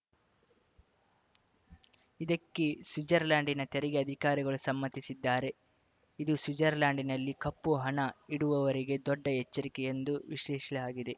ಇದಕ್ಕೆ ಸ್ವಿಜರ್ಲೆಂಡ್‌ನ ತೆರಿಗೆ ಅಧಿಕಾರಿಗಳು ಸಮ್ಮತಿಸಿದ್ದಾರೆ ಇದು ಸ್ವಿಜರ್ಲೆಂಡ್‌ನಲ್ಲಿ ಕಪ್ಪುಹಣ ಇಡುವವರಿಗೆ ದೊಡ್ಡ ಎಚ್ಚರಿಕೆ ಎಂದು ವಿಶ್ಲೇಷಿಸಲಾಗಿದೆ